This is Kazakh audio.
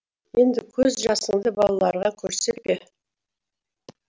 енді көз жасыңды балаларға көрсетпе